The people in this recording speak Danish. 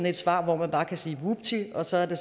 et svar hvor man bare kan sige vupti sådan